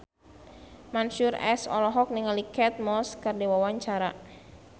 Mansyur S olohok ningali Kate Moss keur diwawancara